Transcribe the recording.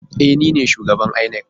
E, ni ne shugaban inec.